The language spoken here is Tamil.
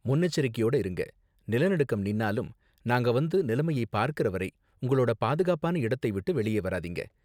முன்னெச்சரிக்கையோட இருங்க, நிலநடுக்கம் நின்னாலும், நாங்க வந்து நிலைமையை பார்க்கற வரை உங்களோட பாதுகாப்பான இடத்தை விட்டு வெளியே வராதீங்க.